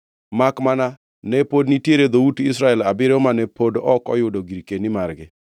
makmana ne pod nitiere dhout Israel abiriyo mane pod ok oyudo girkeni margi.